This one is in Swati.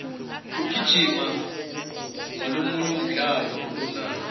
kugijima ngolomunye umdlalo lomnandzi